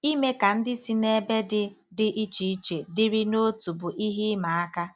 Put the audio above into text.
Ime ka ndị si n'ebe dị dị iche iche dịrị n'otu bụ ihe ịma aka.